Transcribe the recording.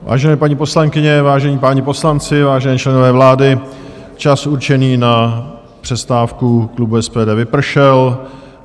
Vážené paní poslankyně, vážení páni poslanci, vážení členové vlády, čas určený na přestávku klubu SPD vypršel.